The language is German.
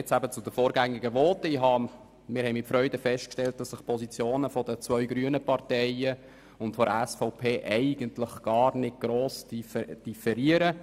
Wir haben mit Freude festgestellt, dass die Positionen der beiden grünen Parteien und der SVP gar nicht gross differieren.